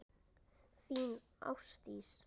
Þín, Ásdís.